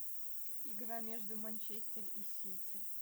игра между манчестер и сити